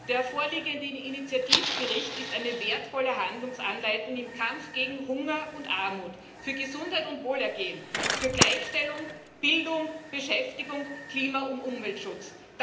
Der vorliegende Initiativbericht ist eine wertvolle Handlungsanleitung im Kampf gegen Hunger und Armut, für Gesundheit und Wohlergehen, für Gleichstellung, Bildung, Beschäftigung, Klima und Umweltschutz.